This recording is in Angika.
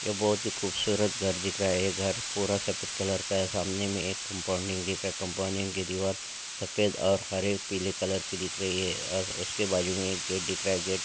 ये बहुत ही खूबसूरत घर दिख रहा है ये घर पूरा सफेद कलर का है सामने में एक कंपाउंडिंग जैसा कंपाउंडिंग के दीवार सफेद और हरे पीले कलर के दिख रही है अ उसके बाजू में एक गेट दिख रहा है गेट --